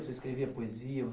Você escrevia poesia,